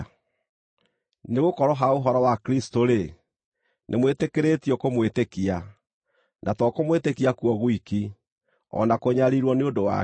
Nĩgũkorwo ha ũhoro wa Kristũ-rĩ, nĩmwĩtĩkĩrĩtio kũmwĩtĩkia, na to kũmwĩtĩkia kuo gwiki, o na kũnyariirwo nĩ ũndũ wake,